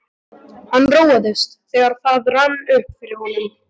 Hann róaðist, þegar það rann upp fyrir honum.